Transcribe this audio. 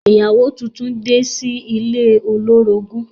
Ìyàwó tuntun de sí ilé olórogún.